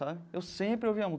Eu sempre ouvia